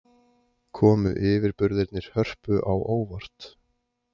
Komu yfirburðirnir Hörpu á óvart?